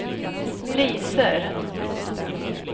priser